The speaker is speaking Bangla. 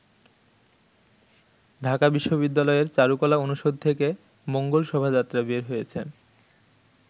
ঢাকা বিশ্ববিদ্যালয়ের চারুকলা অনুষদ থেকে মঙ্গল শোভাযাত্রা বের হয়েছে।